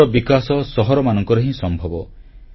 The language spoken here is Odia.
ଶିଳ୍ପର ବିକାଶ ସହରମାନଙ୍କରେ ହିଁ ସମ୍ଭବ